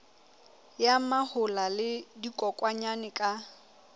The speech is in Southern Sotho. ya mahola le dikokwanyana ka